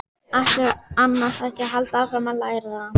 Ætlarðu annars ekki að halda áfram að læra?